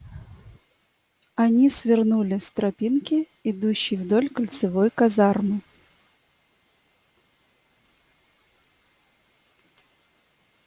они свернули с тропинки идущей вдоль кольцевой казармы